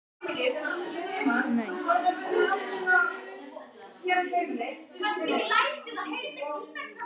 Sumarliði